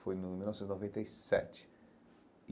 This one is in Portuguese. Foi em mil novecentos e noventa e sete.